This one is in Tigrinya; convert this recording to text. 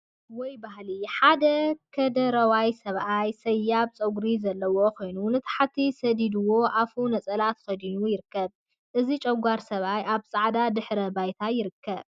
ወይ ባህሊ! ሓደ ከደረዋይ ሰብአይ ሰያብ ፀጉሪ ዘለዎ ኮይኑ ንታሕቲ ሰዲድዎ አፉ ነፀላ ተከዲኑ ይርከብ፡፡ እዚ ጨጓር ሰብአይ አብ ፃዕዳ ድሕረ ባይታ ይርከብ፡፡